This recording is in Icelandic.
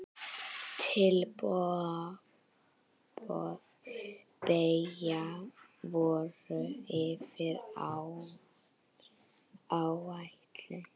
Tilboð beggja voru yfir áætlun.